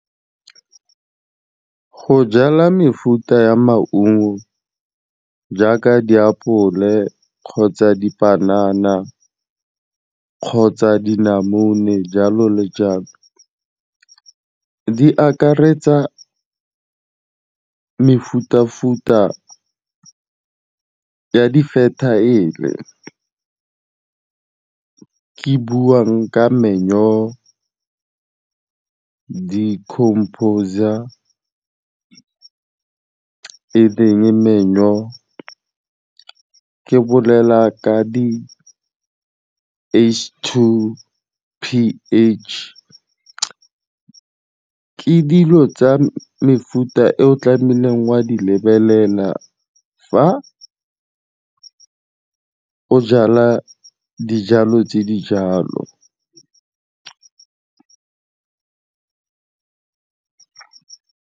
Go jala mefuta ya maungo jaaka diapole kgotsa dipanana, kgotsa dinamune jalo le jalo di akaretsa mefuta-futa ya di-fertile-e. Ke buang ka manure, di-compos-a e leng manure, ke bolela ka di-H_2 P_H. De dilo tsa mefuta e o tlamehileng o a di lebelela fa o jala dijalo tse di jalo.